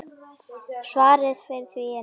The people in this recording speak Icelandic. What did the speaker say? Svarið við því er nei.